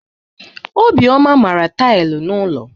Obioma mara tailụ n'ụlọ.